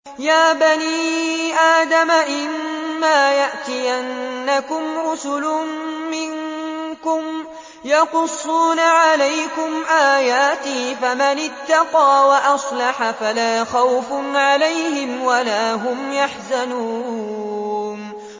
يَا بَنِي آدَمَ إِمَّا يَأْتِيَنَّكُمْ رُسُلٌ مِّنكُمْ يَقُصُّونَ عَلَيْكُمْ آيَاتِي ۙ فَمَنِ اتَّقَىٰ وَأَصْلَحَ فَلَا خَوْفٌ عَلَيْهِمْ وَلَا هُمْ يَحْزَنُونَ